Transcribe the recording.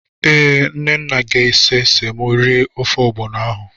Ee, Nnanna ga-ese semo eri ofe ọgbọnọ ahụ.